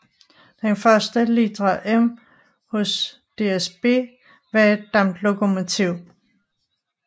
Den første litra M hos DSB var et damplokomotiv